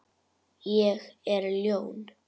Ég er ljón.